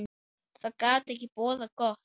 Það gat ekki boðað gott.